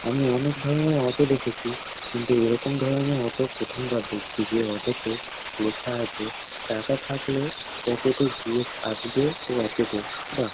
আমি অনেক ধরনের অটো দেখেছি কিন্তু এরকম ধরনের অটো প্রথম বার দেখছি যে অটো -তে লেখা আছে টাকা থাকলে পকেটে জি এফ আসবে আসবে রকেট -এ বাহ --